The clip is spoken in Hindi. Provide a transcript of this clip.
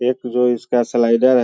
एक जो इसका स्लाइडर है।